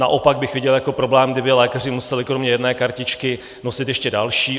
Naopak bych viděl jako problém, kdyby lékaři museli kromě jedné kartičky nosit ještě další.